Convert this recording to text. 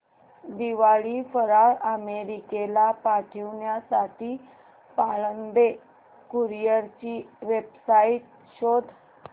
दिवाळी फराळ अमेरिकेला पाठविण्यासाठी पाळंदे कुरिअर ची वेबसाइट शोध